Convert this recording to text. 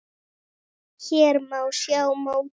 Hér má sjá mótið.